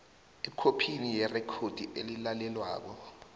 ekhophini yerekhodi elilalelwako